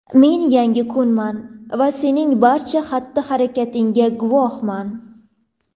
men yangi kunman va sening barcha xatti-harakatingga guvohman.